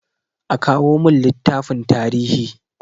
A kawo min littafin tarihi!